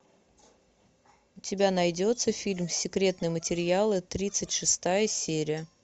у тебя найдется фильм секретные материалы тридцать шестая серия